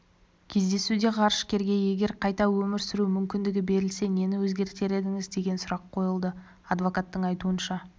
кездесуде ғарышкерге егер қайта өмір сүру мүмкіндігі берілсе нені өзгертер едіңіз деген сұрақ қойылды адвокаттың айтуынша